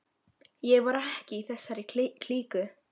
Ég var ekki í þessari klíku.